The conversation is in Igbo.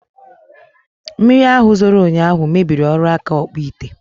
Mmiri ahụ zoro ụnyaahụ mebiri ọrụ aka Ọkpụịte